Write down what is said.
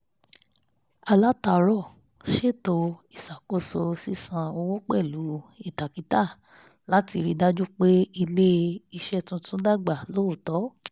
alátàárọ̀ ṣètò ìṣàkóso sísàn owó pẹ̀lú ìtakítà láti rí dájú pé ilé-iṣẹ́ tuntun dàgbà lọ́ọ̀tọ̀